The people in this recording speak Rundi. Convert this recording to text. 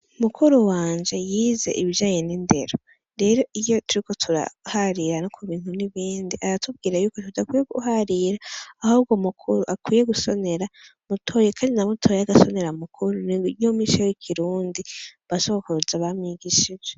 Mukuru wanje yize ibijanye n’indero, rero iyo turiko turaharira no kubintu nibindi , aratubwira yuko tudakwiye guharira , ahubwo mukuru gusonera mutoya , Kandi na mutoya agasonera mukuru , niyo mico y’ikirundi, ba sogokuruza bamwigishije